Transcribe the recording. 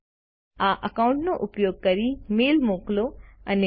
આ એકાઉન્ટ નો ઉપયોગ કરીને મેઈલ મોકલો અને મેળવો